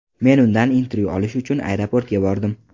Men undan intervyu olish uchun aeroportga bordim.